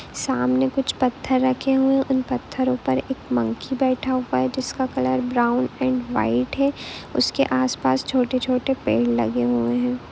सामने कुछ पत्थर रखे हुए है उन पत्थरों पर एक मंकी बैठा हुआ है जिसका कलर ब्राउन एंड वाईट है और उसके आस पास छोटे-छोटे पेड़ लगे हुए है।